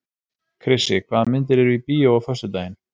Krissi, hvaða myndir eru í bíó á föstudaginn?